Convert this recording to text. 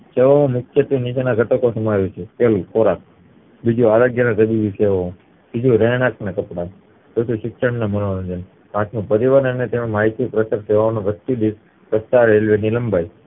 તો મુખ્યત્વે નીચેના ઘટકો આવે છે પેલું ખોરાક બીજું આરોગ્ય અને ત્રીજું રહેણાંક અને કપડાં ચોથું શિક્ષણ અને મનોરંજન પાંચમું પરિવહન અને તેમાં માહિતી વ્યક્તિદીઠ લંબાઈ